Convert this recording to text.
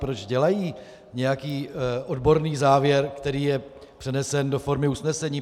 Proč dělají nějaký odborný závěr, který je přenesen do formy usnesení?